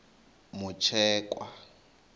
mutshekwa